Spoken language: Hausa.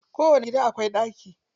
Kowani gida akwai ɗaki.